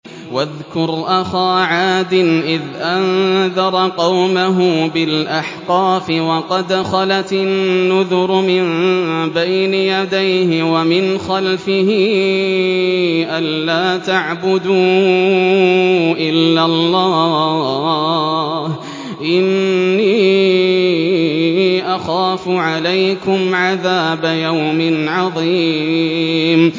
۞ وَاذْكُرْ أَخَا عَادٍ إِذْ أَنذَرَ قَوْمَهُ بِالْأَحْقَافِ وَقَدْ خَلَتِ النُّذُرُ مِن بَيْنِ يَدَيْهِ وَمِنْ خَلْفِهِ أَلَّا تَعْبُدُوا إِلَّا اللَّهَ إِنِّي أَخَافُ عَلَيْكُمْ عَذَابَ يَوْمٍ عَظِيمٍ